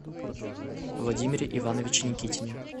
владимире ивановиче никитине